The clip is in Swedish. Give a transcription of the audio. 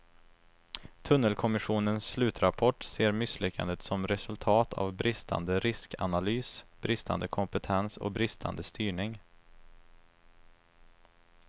Tunnelkommissionens slutrapport ser misslyckandet som resultat av bristande riskanalys, bristande kompetens och bristande styrning.